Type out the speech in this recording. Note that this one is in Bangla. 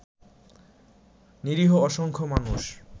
নিরীহ অসংখ্য মানুষ